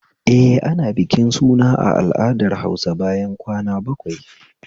Eh, ana bikin suna a al'adar Hausa bayan kwana bakwai